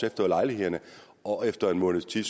efter lejlighederne og efter en måneds tid